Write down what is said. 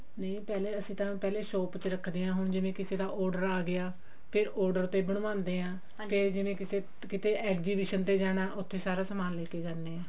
ਨਹੀ ਪਹਿਲੇ ਅਸੀਂ ਤਾਂ ਪਹਿਲੇ ਸ਼ੋਪ ਚ ਰੱਖਦੇ ਹਾਂ ਹੁਣ ਜਿਵੇਂ ਕਿਸੇ ਦਾ order ਆ ਗਿਆ ਫ਼ੇਰ order ਤੇ ਬਣਵਾਉਂਦੇ ਹਾਂ ਹਾਂ ਤੇ ਜਿਵੇਂ ਕਿਤੇ ਕਿਤੇ exhibition ਤੇ ਜਾਣਾ ਉੱਥੇ ਸਾਰਾ ਸਮਾਨ ਲੈਕੇ ਜਾਂਦੇ ਆ